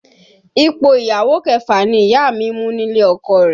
Ipò ìyàwó kẹfà ni Ìyá mi mú nílé ọkọ rẹ̀